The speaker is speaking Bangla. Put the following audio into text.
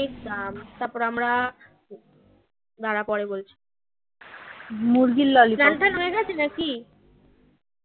এক দাম তারপর আমরা দাড়া পরে বলছি চান টান হয়ে গেছে নাকি